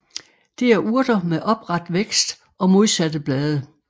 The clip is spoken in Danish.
Det er urter med opret vækst og modsatte blade